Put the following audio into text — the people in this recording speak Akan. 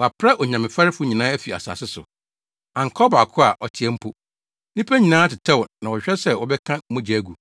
Wɔapra Onyamefɛrefo nyinaa afi asase so. Anka ɔbaako a ɔteɛ mpo. Nnipa nyinaa tetɛw na wɔhwehwɛ sɛ wɔbɛka mogya agu;